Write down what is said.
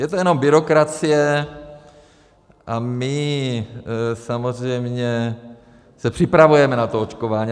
Je to jenom byrokracie a my samozřejmě se připravujeme na to očkování.